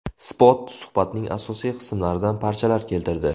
Spot suhbatning asosiy qismlaridan parchalar keltirdi .